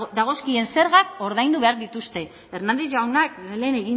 dagozkien zergak ordaindu behar dituzte fernandez jaunak lehen